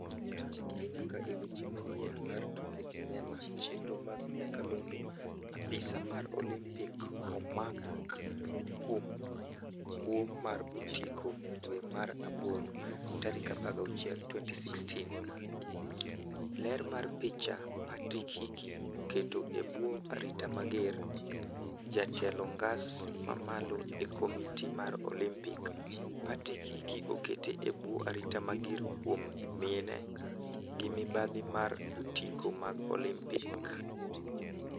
Chikri nyaka e weche manyien mar tuke sinema chenro mag nyakalondo Apisaa mar olimpik omak kuom kwo mar otiko dwe mar Aboro 16, 2016. Ler mar picha, Patrick Hickey, okete ebwo arita mager. Jatelo ngas mamalo e komitii mar olimpik. Patrick Hickey, okete ebwo arita mager kuom miene gi mibadhi mar otiko mag olimpik.